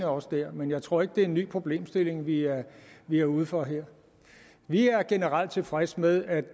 også bliver der men jeg tror ikke at det er en ny problemstilling vi er vi er ude for her vi er generelt tilfredse med at